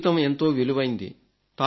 జీవితం ఎంతో విలువైంది